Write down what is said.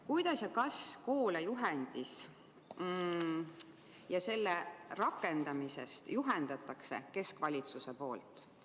Kuidas ja kas keskvalitsus juhendab koole juhendi ja selle rakendamise teemal?